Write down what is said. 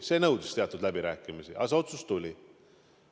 See nõudis teatud läbirääkimisi, aga see otsus tuli.